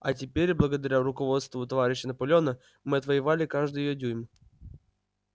а теперь благодаря руководству товарища наполеона мы отвоевали каждый её дюйм